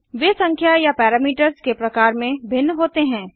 वे संख्या या पैरामीटर्स के प्रकार में भिन्न होते हैं